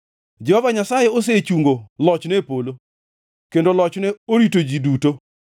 Jehova Nyasaye osechungo lochne e polo, kendo lochne orito ji duto.